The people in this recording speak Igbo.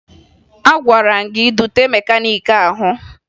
Agwara m gị dute mekaniiki ahụ!